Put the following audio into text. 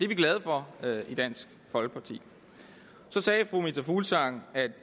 vi glade for i dansk folkeparti så sagde fru meta fuglsang at